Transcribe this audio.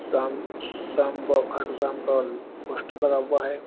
शाम श्याम ब खाटू श्याम का पोस्टर लगा हुआ है।